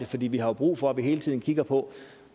fordi vi har brug for hele tiden at kigge på